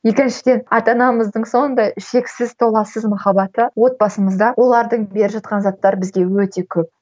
екіншіден ата анамыздың сондай шексіз толассыз махаббаты отбасымызда олардың беріп жатқан заттары бізге өте көп